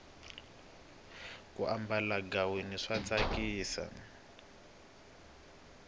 ku ambala ghaweni swa tsakisa